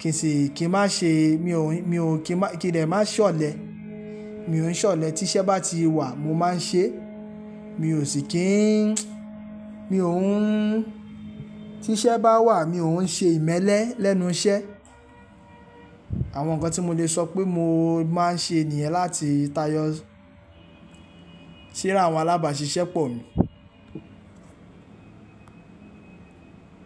kìn sì kín má ṣe, mi ò, mi ò kí n má, kí n dẹ̀ má ṣọ̀lẹ. Mi ò ń ṣọ̀lẹ, tí iṣẹ́ bá ti wà mo máa ń ṣe é. Mi ò sì kí ń, mi ò ń, tí iṣẹ́ bá wà mi ò ń ṣe ìmẹ́lẹ́ lẹ́nu iṣẹ́. Àwọn nǹkan tí mo lè sọ pé mo máa ń ṣe niyen láti tayọ síra àwọn alábàṣiṣẹ́ pọ̀ mi.